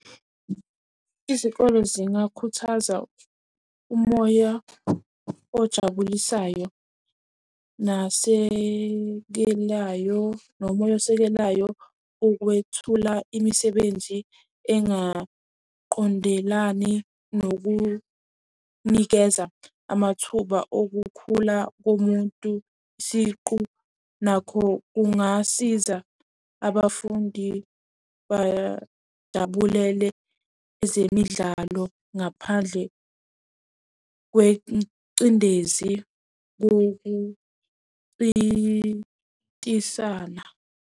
Izikole zingakhuthaza umoya ojabulisayo, nasekelayo, nomoya osekelayo ukwethula imisebenzi engaqondelani nokunikeza amathuba okukhula komuntu siqu nakho kungasiza. Abafundi bayajabulele ezemidlalo ngaphandle kwencindezi kokuncintisana.